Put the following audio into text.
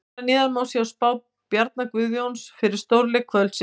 Hér að neðan má sjá spá Bjarna Guðjóns fyrir stórleiki kvöldsins.